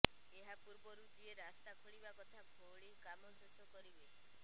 ଏହା ପୂର୍ବରୁ ଯିଏ ରାସ୍ତା ଖୋଳିବା କଥା ଖୋଳି କାମ ଶେଷ କରିବେ